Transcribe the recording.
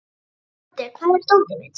Úddi, hvar er dótið mitt?